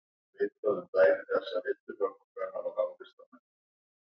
Venus undan Eyjafjöllum stóð á fætur og sneri sér sorgmædd í hring.